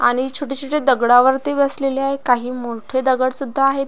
आणि छोटे छोटे दगडावरती बसलेले आहे काही मोठे दगडसुद्धा आहेत.